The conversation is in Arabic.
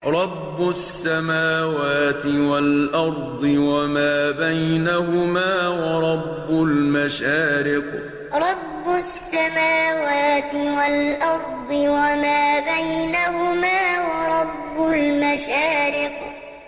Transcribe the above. رَّبُّ السَّمَاوَاتِ وَالْأَرْضِ وَمَا بَيْنَهُمَا وَرَبُّ الْمَشَارِقِ رَّبُّ السَّمَاوَاتِ وَالْأَرْضِ وَمَا بَيْنَهُمَا وَرَبُّ الْمَشَارِقِ